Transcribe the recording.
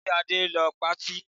Ṣe Adé ń lọ patí?